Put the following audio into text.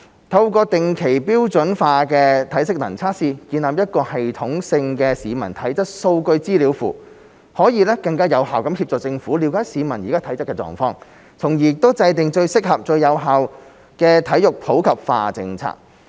透過定期標準化的體適能測試，建立一個系統性的市民體質數據資料庫，可以更有效協助政府了解市民的體質狀況，從而訂定最合適、最有效的體育普及化政策。